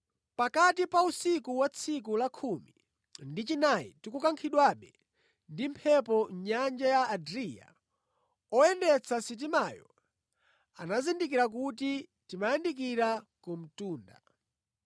Pakati pa usiku wa tsiku la khumi ndi chinayi tikukankhidwabe ndi mphepo mʼnyanja ya Adriya, oyendetsa sitimayo anazindikira kuti timayandikira ku mtunda.